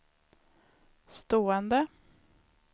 stående